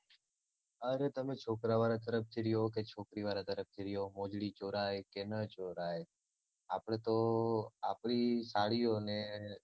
અરે તમે છોકરાં વાળા તરફથી હોય કે છોકરી વાળા તરફથી બી હોય મોજડી ચોરાય કે ન ચોરાય આપડે તો આપડી સાળીઓને